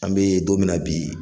An bɛ don mina bi.